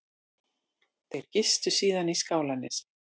Þeir gistu síðan í Skálanesi